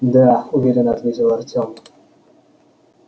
да уверенно ответил артём